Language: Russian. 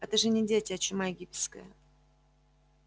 это же не дети а чума египетская